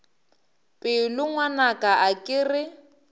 pelo ngwanaka a ke re